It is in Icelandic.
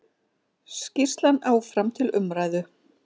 Skýrslan áfram til umræðu